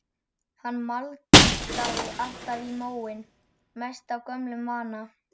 Hann maldaði alltaf í móinn, mest af gömlum vana.